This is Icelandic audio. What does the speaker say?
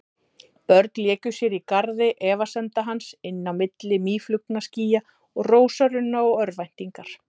Börn léku sér í garði efasemda hans, inn á milli mýflugnaskýja og rósarunna og örvæntingar.